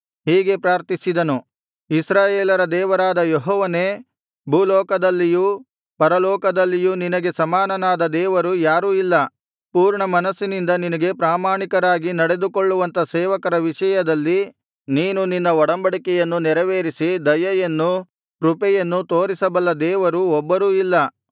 ಹೀಗೆ ಪ್ರಾರ್ಥಿಸಿದನು ಇಸ್ರಾಯೇಲರ ದೇವರಾದ ಯೆಹೋವನೇ ಭೂಲೋಕದಲ್ಲಿಯೂ ಪರಲೋಕದಲ್ಲಿಯೂ ನಿನಗೆ ಸಮಾನನಾದ ದೇವರು ಯಾರೂ ಇಲ್ಲ ಪೂರ್ಣಮನಸ್ಸಿನಿಂದ ನಿನಗೆ ಪ್ರಾಮಾಣಿಕರಾಗಿ ನಡೆದುಕೊಳ್ಳುವಂಥ ಸೇವಕರ ವಿಷಯದಲ್ಲಿ ನೀನು ನಿನ್ನ ಒಡಂಬಡಿಕೆಯನ್ನು ನೆರವೇರಿಸಿ ದಯೆಯನ್ನೂ ಕೃಪೆಯನ್ನೂ ತೋರಿಸಬಲ್ಲ ದೇವರು ಒಬ್ಬರೂ ಇಲ್ಲ